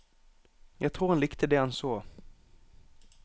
Jeg tror han likte det han så.